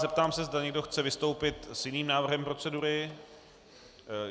Zeptám se, zda někdo chce vystoupit s jiným návrhem procedury.